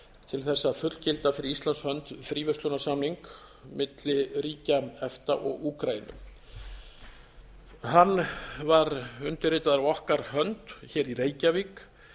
til þess að fullgilda fyrir íslands hönd fríverslunarsamning milli ríkja efta og úkraínu hann var undirritaður af okkar hönd hér í reykjavík